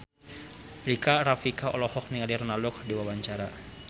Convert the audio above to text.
Rika Rafika olohok ningali Ronaldo keur diwawancara